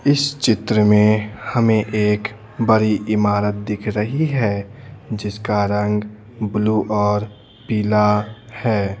इस चित्र में हमें एक बड़ी इमारत दिख रही है जिसका रंग ब्लू और पीला है।